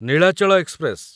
Nilachal express